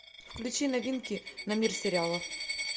включи новинки на мир сериалов